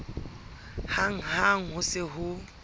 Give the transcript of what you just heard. hang ha ho se ho